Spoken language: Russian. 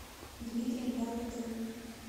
дмитрием болотовым